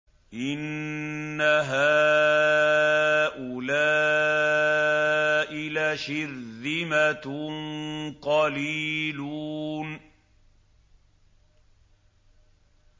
إِنَّ هَٰؤُلَاءِ لَشِرْذِمَةٌ قَلِيلُونَ